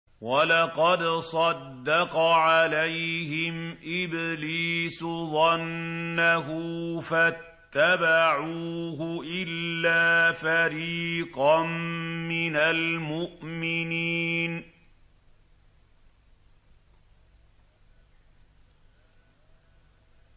وَلَقَدْ صَدَّقَ عَلَيْهِمْ إِبْلِيسُ ظَنَّهُ فَاتَّبَعُوهُ إِلَّا فَرِيقًا مِّنَ الْمُؤْمِنِينَ